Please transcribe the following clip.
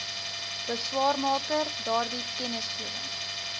beswaarmaker daardie kennisgewing